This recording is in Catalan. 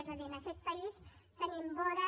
és a dir en aquest país tenim vora